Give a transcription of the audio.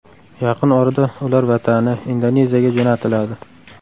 Yaqin orada ular vatani, Indoneziyaga jo‘natiladi.